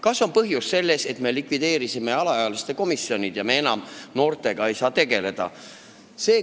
Kas põhjus on selles, et me likvideerisime alaealiste komisjonid ja me ei saa enam noortega tegeleda?